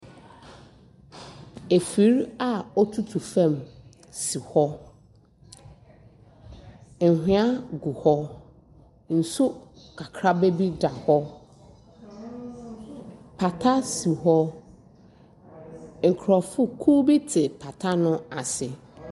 Afir a otutu fam si hɔ. Anhweɛ gu hɔ kakraba bi da hɔ. Pata si hɔ. Nkrɔfokuw bi te pata no ase.